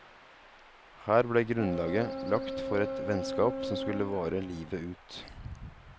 Her ble grunnlaget lagt for et vennskap som skulle vare livet ut.